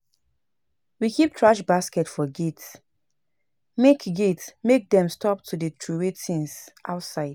We keep thrash basket for gate make gate make dem stop to dey troway tins outside.